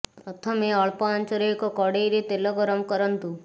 ପ୍ରଥମେ ଅଳ୍ପ ଆଞ୍ଚରେ ଏକ କଡ଼େଇରେ ତେଲ ଗରମ କରନ୍ତୁ